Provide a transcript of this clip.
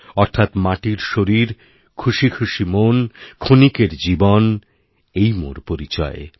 অর্থাৎ মাটির শরীর খুশি খুশি মন ক্ষণিকেরজীবন এই মোর পরিচয়